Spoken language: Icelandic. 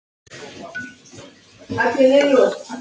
Hvað varð um hana?